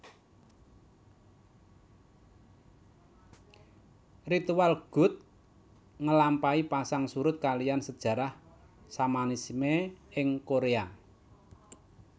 Ritual gut ngelampahi pasang surut kaliyan sejarah Shamanisme ing Korea